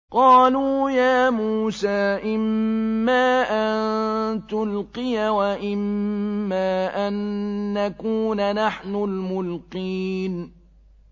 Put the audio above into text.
قَالُوا يَا مُوسَىٰ إِمَّا أَن تُلْقِيَ وَإِمَّا أَن نَّكُونَ نَحْنُ الْمُلْقِينَ